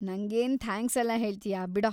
ನಂಗೇನ್ ಥ್ಯಾಂಕ್ಸೆಲ್ಲ ಹೇಳ್ತೀಯಾ ಬಿಡೋ.